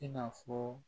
I n'a fɔ